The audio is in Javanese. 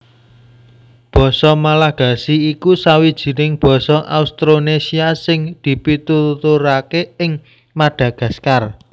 Basa Malagasy iku sawijining basa Austronésia sing dipituturaké ing Madagaskar